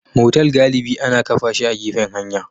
Motal galibi ana kafa shi a gefen hanya